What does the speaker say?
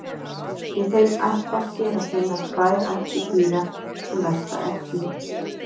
í þeim ættbálki er að finna tvær ættir dýra sem verpa eggjum